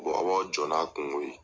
aw b'aw jɔ n'a kungo ye.